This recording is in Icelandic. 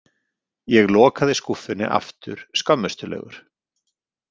Ég lokaði skúffunni aftur skömmustulegur.